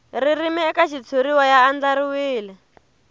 ririmi eka xitshuriwa ya andlariwile